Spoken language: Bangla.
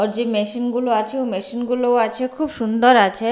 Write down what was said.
আর যে মেশিন গুলো আছে ওই মেশিন গুলো আছে খুব সুন্দর আছে।